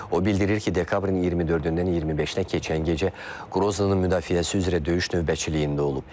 O bildirir ki, dekabrın 24-dən 25-ə keçən gecə Qroznının müdafiəsi üzrə döyüş növbəçiliyində olub.